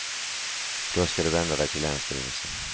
Då ska du vända dig till länsstyrelsen.